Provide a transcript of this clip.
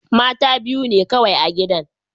Mata biyu ne kawai a gidan.